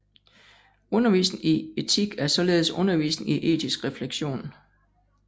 Undervisning i etik er således undervisning i etisk refleksion